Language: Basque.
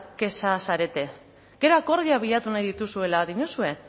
kexa zarete gero akordioa bilatu nahi dituzuela diozue